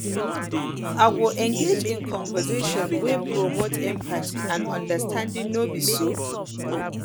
i go go engage in conversations wey promote empathy and understanding no be so